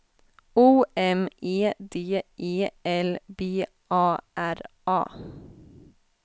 O M E D E L B A R A